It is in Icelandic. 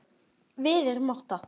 Við erum átta.